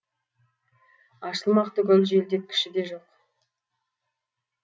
ашылмақ түгіл желдеткіші де жоқ